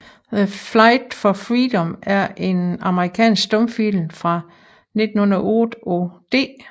The Fight for Freedom er en amerikansk stumfilm fra 1908 af D